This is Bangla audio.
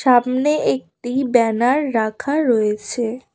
সামনে একটি ব্যানার রাখা রয়েছে।